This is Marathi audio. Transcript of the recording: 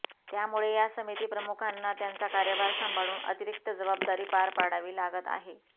त्यामुळे या समितीप्रमुखांना त्यांचा कार्यभार सांभाळून अतिरिक्त जबाबदारी पार पाडावी लागत आहे